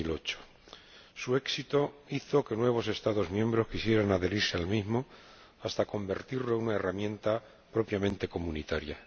2008. Su éxito hizo que nuevos Estados miembros quisieran adherirse al mismo hasta convertirlo en una herramienta propiamente comunitaria.